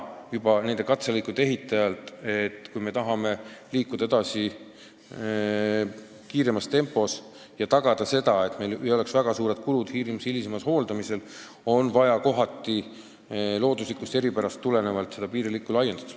Juba nende katselõikude ehitamise ajal oli näha, et kui me tahame liikuda edasi kiiremas tempos ja tagada, et piiri hilisema hooldamise kulud ei ole väga suured, siis tuleb kohati loodusliku eripära tõttu piiririba laiendada.